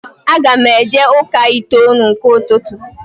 Aga m eje ụka itoolu nke ụtụtụ